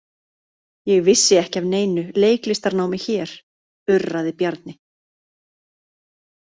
Ég vissi ekki af neinu leiklistarnámi hér, urraði Bjarni.